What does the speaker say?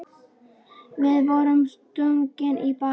Við vorum stungnir í bakið.